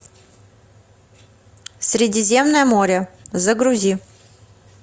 средиземное море загрузи